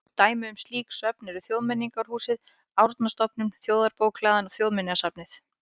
Dæmi um slík söfn eru Þjóðmenningarhúsið, Árnastofnun, Þjóðarbókhlaðan og Þjóðminjasafnið.